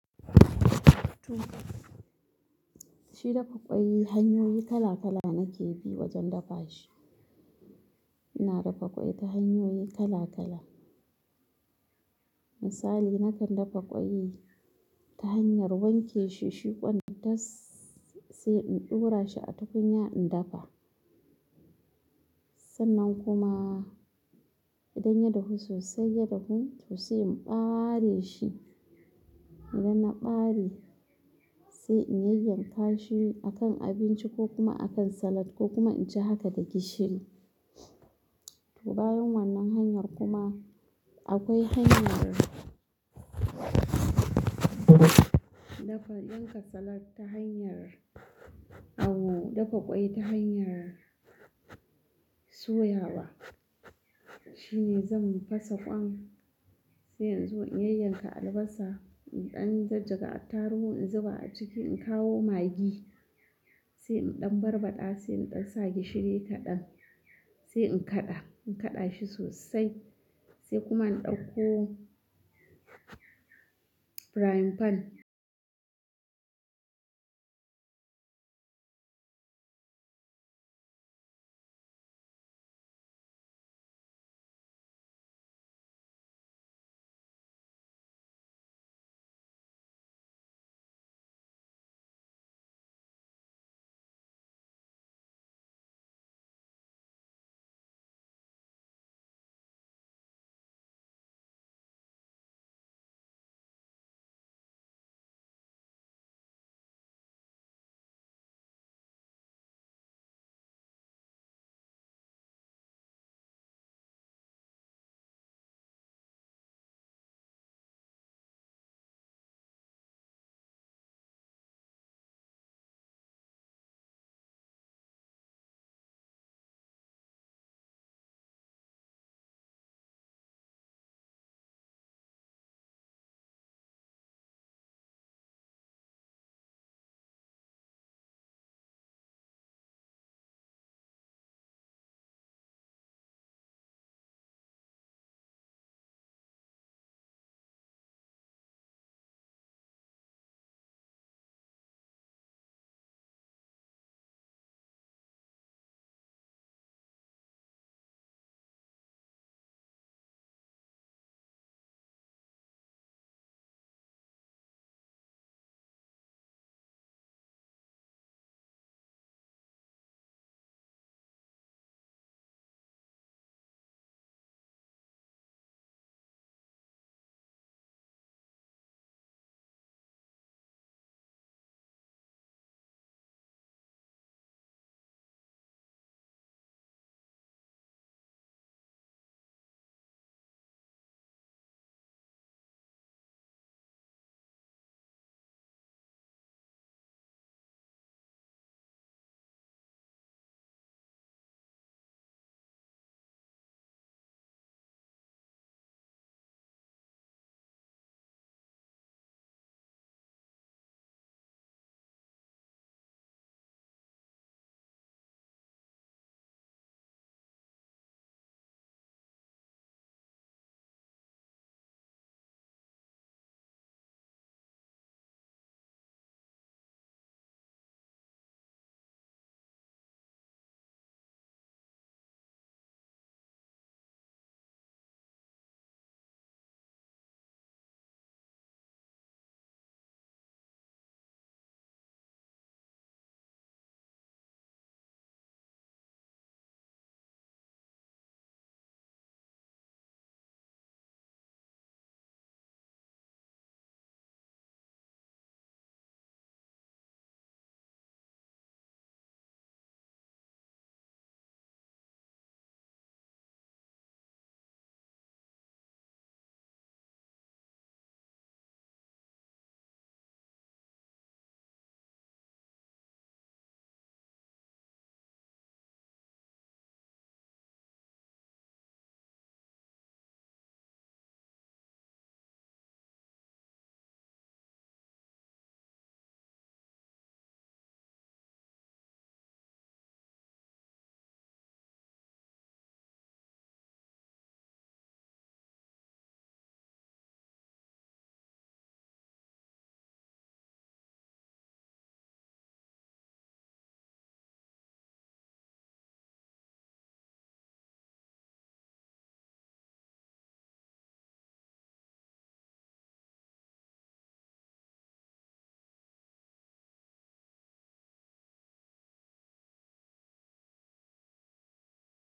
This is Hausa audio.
To, shi dafa ƙwai hanyoyi kala kala nake bi wajen dafa shi. Ina dafa ƙwai ta hanyoyi kala kala. Misali nakan dafa ƙwai ta hanyar wanke shi shi kwan tas sai in ɗora shi a tukunya in dafa. Sannan kuma idan ya dahu sosai, ya dahu to sai in ɓare shi. Idan na ɓare, sai in yayyanka shi akan abinci ko kuma akan salad ko in ci haka da gishiri to bayan wannan hanyar kuma akwai hanyar dafa, yanka salad ta hanyar, dafa ƙwai ta hanyar, soyawa. Shi ne zan fasa ƙwan sai in zo in yayyanka albasa, in ɗan jajjaga attarugu in zuba a ciki, in kawo magi sai in ɗan barbaɗa, sai in ɗan sa gishiri kaɗan sai in kaɗa, in kaɗa shi sosai sai kuma in ɗauko frying pan.